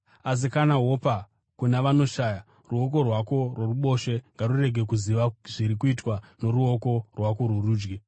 Asi kana wopa kuna vanoshaya ruoko rwako rworuboshwe ngarurege kuziva zviri kuitwa noruoko rwako rworudyi,